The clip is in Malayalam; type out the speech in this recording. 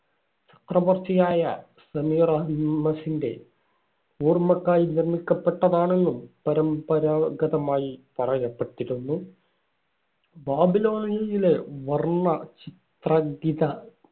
ചക്രവർത്തിയായ സെമീറാമാസിന്‍റെ ഓർമയ്ക്കായി നിർമ്മിക്കപ്പെട്ടതാണെന്നും പരമ്പരാഗതമായി പറയപ്പെട്ടിരുന്നു. ബാബിലോണിയായിലെ വർണ ചിത്രാങ്കിത~